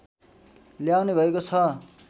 ल्याउने भएको छ